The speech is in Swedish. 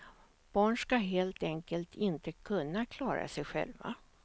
Barn ska helt enkelt inte kunna klara sig själva.